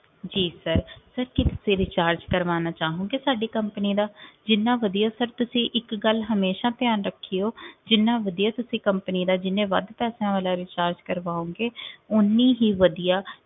ਜੀ sir sir ਕੀ ਤੁਸੀ recharge ਕਰਵਾਣਾ ਚਾਹੋਗੇ ਸਾਡੀ company ਦਾ ਜਿਨ੍ਹਾਂ ਵਧੀਆ sir ਤੁਸੀ ਇਕ ਗੱਲ ਹਮੇਸ਼ਾ ਧਿਆਨ ਰੱਖਿਓ ਜਿਨ੍ਹਾਂ ਵਧੀਆ ਤੁਸੀਂ company ਦਾ ਜਿੰਨੇ ਵੱਧ ਪੈਸਿਆਂ ਵਾਲਾ recharge ਕਰਵਾਓਗੇ ਓਨੀ ਹੀ ਵਧੀਆ